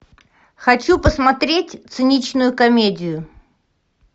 хочу посмотреть циничную комедию